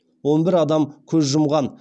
он бір адам көз жұмған